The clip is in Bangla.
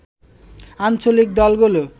আঞ্চলিক দলগুলো